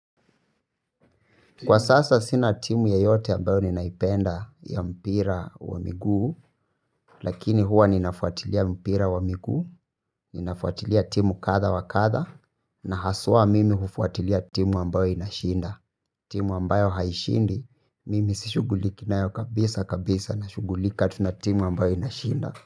Kwa sasa sina timu yoyote ambayo ninaipenda ya mpira wa miguu, lakini huwa ninafuatilia mpira wa miguu, ninafuatilia timu kadha wa kadha, na haswa mimi hufuatilia timu ambayo inashinda. Timu ambayo haishindi, mimi sishuguliki nayo kabisa kabisa na shugulika tu na timu ambayo inashinda.